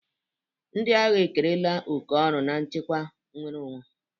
Ndị agha ekerela oke ọrụ n'ichekwa nnwere onwe.